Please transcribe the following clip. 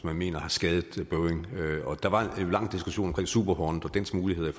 mener har skadet boeing og der var en lang diskussion om super hornet og dets muligheder i